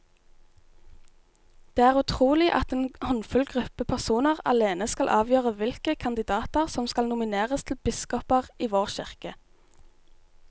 Det er utrolig at en håndfull gruppe personer alene skal avgjøre hvilke kandidater som skal nomineres til biskoper i vår kirke.